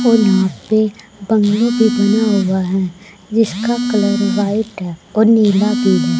और यहां पे बंगले बना हुआ है जिसका कलर व्हाइट है और नील भी है।